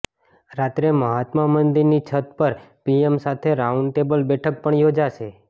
રાત્રે મહાત્મા મંદિરની છત પર પીએમ સાથે રાઉન્ડ ટેબલ બેઠક પણ યોજશે